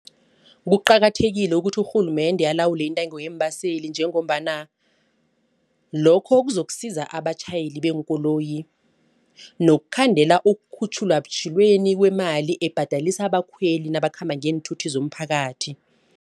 Kuqakathekile ukuthi urhulumende alawule intengo yeembaseli njengombana lokho kuzokusiza abatjhayeli beenkoloyi nokukhandela ukukhutjhulwa ubutjhilweni kwemali ebhadelisa abakhweli nabakhamba ngeenthuthi zomphakathi.